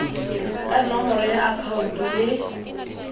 ka nomoro ya akhaonto le